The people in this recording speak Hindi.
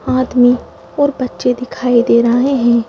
आदमी और बच्चे दिखाई दे रहे हैं।